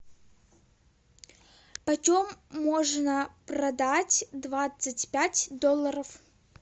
почем можно продать двадцать пять долларов